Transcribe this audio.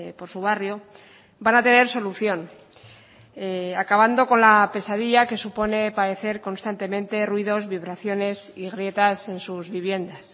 por su barrio van a tener solución acabando con la pesadilla que supone padecer constantemente ruidos vibraciones y grietas en sus viviendas